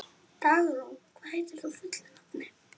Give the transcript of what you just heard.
Dagrún, hvað heitir þú fullu nafni?